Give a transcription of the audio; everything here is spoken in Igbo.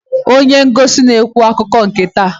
Onye ngosi na-ekwu akụkọ nke taa.